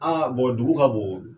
dugu ka bon o.